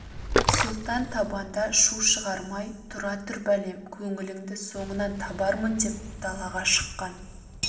сұлтан табанда шу шығармай тұра тұр бәлем көңіліңді соңынан табармын деп далаға шыққан